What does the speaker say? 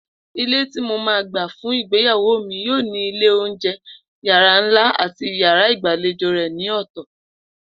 Ilé tí mo máa gbà fún ìgbéyàwó mi yóò ní ilé oúnje̩, yàrá ńlá àti yàrá ìgbàlejò rè̩ ní ò̩tò̩